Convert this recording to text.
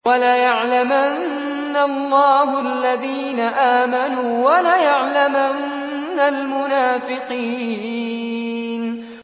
وَلَيَعْلَمَنَّ اللَّهُ الَّذِينَ آمَنُوا وَلَيَعْلَمَنَّ الْمُنَافِقِينَ